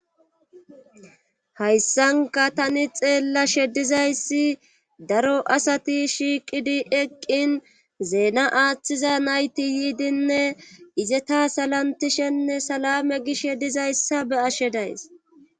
Hayssanka tani xeella shedizayssi daro asati shiiqidi eqqin zeena aaththiza nayti yiidinne izeta salantishenne salame gish shedizayssa be ashe days.